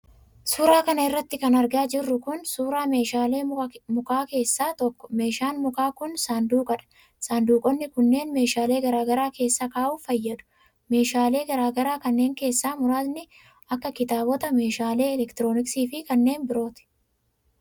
Suura kana irratti kan argaa jirru kun, suura meeshalee mukaa keessaa tokko. Meeshaan muka kun, saanduqa dha. Saanduqoonni kunneen ,meeshaalee garaa garaa keessa kaa'uuf fayyadu. Meeshaalee garaa garaa kanneen keessaa muraasni kan akka: kitaabotaa meeshaalee elektinooksii fi kanneen birooti.